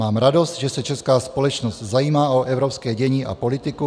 Mám radost, že se česká společnost zajímá o evropské dění a politiku.